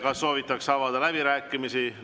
Kas soovitakse avada läbirääkimisi?